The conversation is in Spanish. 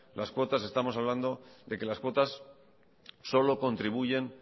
las cuotas estamos hablando de que las cuotas solo contribuyen